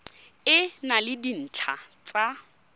e na le dintlha tsa